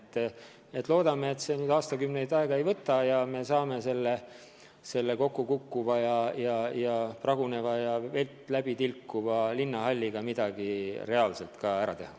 Nii et loodame, et see enam aastakümneid aega ei võta ja me saame selles kokkukukkuvas ja pragunevas ja vett läbi tilkuvas linnahallis midagi reaalselt ka ära teha.